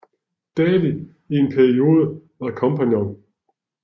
David i en periode var kompagnon